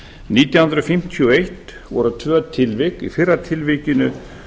nítján hundruð fimmtíu og eitt voru tvö tilvik í fyrra tilvikinu